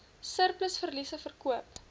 surplus verliese verkoop